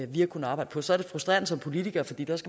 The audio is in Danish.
vi har kunnet arbejde på så er det frustrerende som politiker fordi